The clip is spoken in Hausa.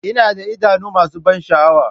Ina da idanu masu ban sha'awa.